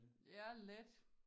Ja lidt